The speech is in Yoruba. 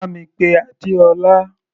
Bá mi pé Adeola.